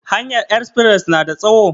Hanyar espres na da tsawo?